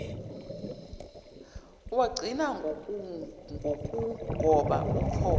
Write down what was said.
lwagcina ngokugoba uphondo